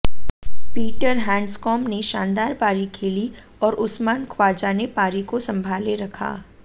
Peter Handscomb ने शानदार पारी खेली और उस्मान ख्वाजा ने पारी को संभाले रखा